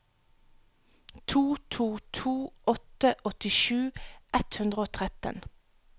to to to åtte åttisju ett hundre og tretten